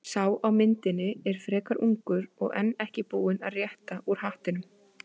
Sá á myndinni er frekar ungur og enn ekki búinn að rétta úr hattinum.